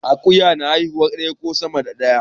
Akuya na haifar daya ko sama da daya